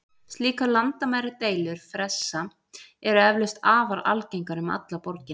Slíkar landamæradeilur fressa eru eflaust afar algengar um alla borgina.